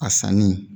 A sanni